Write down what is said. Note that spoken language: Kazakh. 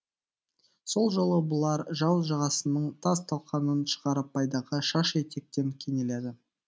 сол жолы бұлар жау жағасының тас талқанын шығарып пайдаға шаш етектен кенеледі